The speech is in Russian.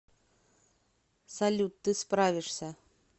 салют ты справишься